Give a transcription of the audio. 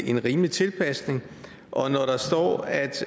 en rimelig tilpasning og når der står at